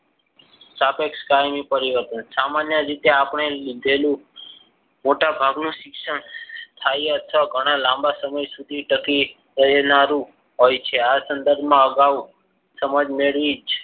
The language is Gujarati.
સાપેક્ષ કાયમી પરિવર્તન સામાન્ય રીતે આપણે લીધેલું મોટાભાગનો શિક્ષણ થાય. અથવા ઘણા લાંબા સમય સુધી ટકી રહેનારો હોય છે. આ સંદર્ભમાં અગાઉ સમજ મેળવી જ.